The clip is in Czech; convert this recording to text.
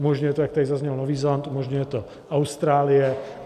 Umožňuje to, jak tady zaznělo, Nový Zéland, umožňuje to Austrálie.